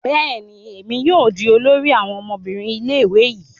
Bẹẹni, èmi yóò di olórí àwọn ọmọbìnrin ilé-ìwé yii